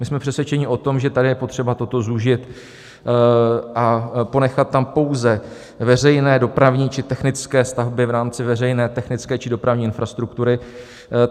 My jsme přesvědčeni o tom, že tady je potřeba toto zúžit a ponechat tam pouze veřejné, dopravní či technické stavby v rámci veřejné, technické či dopravní infrastruktury.